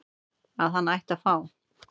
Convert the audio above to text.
að hann ætti að fá